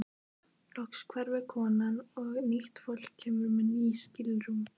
Loks hverfur konan og nýtt fólk kemur með ný skilrúm.